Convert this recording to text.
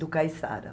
Do Caiçara.